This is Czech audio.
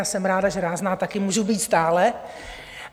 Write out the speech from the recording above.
Já jsem ráda, že rázná taky můžu být stále.